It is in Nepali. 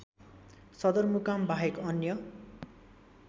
सदरमुकाम बाहेक अन्य